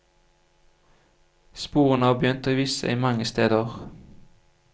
Sporene har begynt å vise seg mange steder.